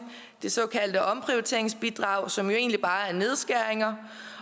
det såkaldte omprioriteringsbidrag som jo egentlig bare er nedskæringer